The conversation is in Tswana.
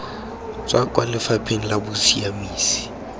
tswa kwa lefapheng la bosiamisi